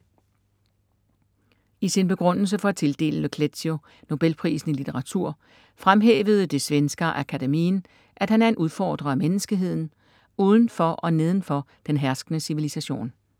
I sin begrundelse for at tildele Le Clézio Nobelprisen i litteratur fremhævede det Svenska Akademien, at han er en udfordrer af menneskeheden, uden for og neden for den herskende civilisation.